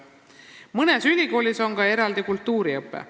Mõnes ülikoolis on ka eraldi kultuuriõpe.